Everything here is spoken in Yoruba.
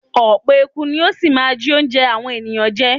Ọ̀pọ̀ eku ni ó ṣì máa jí óúnjẹ àwọn èèyàn jẹ.